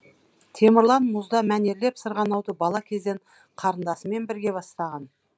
темірлан мұзда мәнерлеп сырғанауды бала кезден қарындасымен бірге бастаған